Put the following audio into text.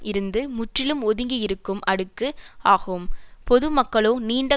இருந்து முற்றிலும் ஒதுங்கி இருக்கும் அடுக்கு ஆகும் பொது மக்களோ நீண்ட